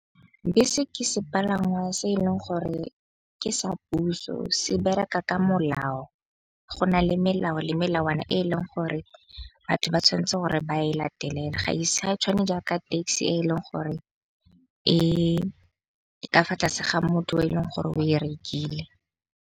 Bese ke sepalangwa se e leng gore ke sa puso se bereka ka molao. Go na le melao le melawana e e leng gore batho ba tshwanetse gore ba e latelele. Ga e tshwane jaaka taxi e leng gore e ka fa tlase ga motho o e leng gore o e rekile.